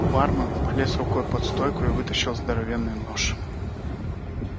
бармен полез рукой под стойку и вытащил здоровенный нож